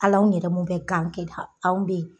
Al'anw yɛrɛ mun bɛ gan kɛ anw bɛ yen.